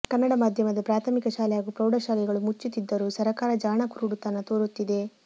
ಕನ್ನಡ ಮಾಧ್ಯಮದ ಪ್ರಾಥಮಿಕ ಶಾಲೆ ಹಾಗೂ ಪ್ರೌಢಶಾಲೆಗಳು ಮುಚ್ಟುತ್ತಿದ್ದರೂ ಸರಕಾರ ಜಾಣ ಕುರುಡುತನ ತೋರುತ್ತಿದೆ